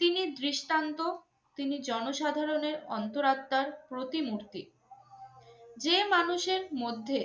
তিনি দৃষ্টান্ত, তিনি জনসাধারণের অন্তরাত্মার প্রতিমূর্তি। যে মানুষের মধ্যে